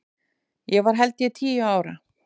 Ég var held ég tíu ára.